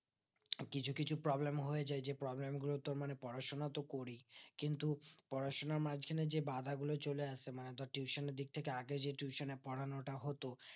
কিছু কিছু problem হয়ে যাই যেই problem এর জন্য তোর মানে পড়াশোনা তো করি কিন্তু পড়াশোনার মাজখানে যে বাধা গুলো চলে আসে মানে ধরে tuition এর দিক থেকে আগে যেই tuition এ পোড়ানোটা হতো